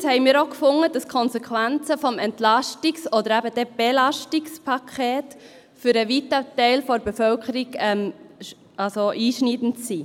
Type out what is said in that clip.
Erstens fanden wir auch, dass die Konsequenzen des Entlastungs- oder eben dann Belastungspakets für einen weiten Teil der Bevölkerung einschneidend sind.